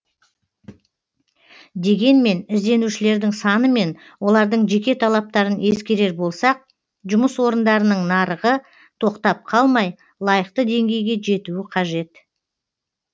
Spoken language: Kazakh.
дегенмен ізденушілердің саны мен олардың жеке талаптарын ескерер болсақ жұмыс орындарының нарығы тоқтап қалмай лайықты деңгейге жетуі қажет